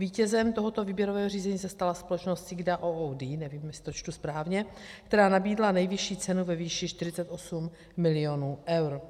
Vítězem tohoto výběrového řízení se stala společnost SIGDA OOD, nevím, jestli to čtu správně, která nabídla nejvyšší cenu ve výši 48 milionů eur.